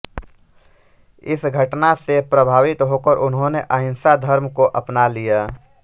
इस घटना से प्रभावित होकर उन्होंने अहिंसा धर्म को अपना लिया